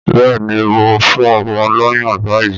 Bẹ́ẹ̀ ni, mò ń fún ọmọ lọ́yàn báyìí